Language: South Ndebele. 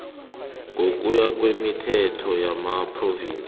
ngokuya kwemithetho yamaphrovinsi